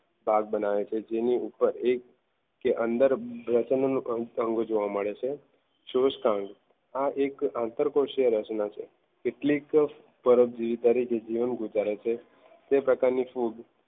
ભાગ બનાવે છે. જેની ઉપર એક કે અંદર પ્રજનન અંગ જોવા મળે છે આ એક આંતરકોષીય રચના છે કેટલીક પરત તરીકે જીવન ગુજારે છે જે પ્રકારની ફૂગ